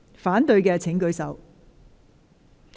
反對的請舉手。